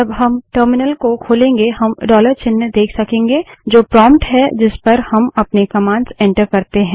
जब हम टर्मिनल को खोलेंगे हम डॉलर चिन्ह देख सकेंगे जो प्रोंप्ट है जिस पर हम अपने कमांड्स एंटर करते है